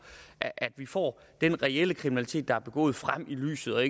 at vi får den reelle kriminalitet der er begået frem i lyset og